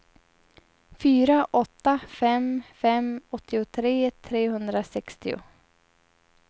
fyra åtta fem fem åttiotre trehundrasextio